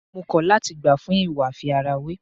Mo kọ̀ láti gbà fún ìwà àfi ara wé.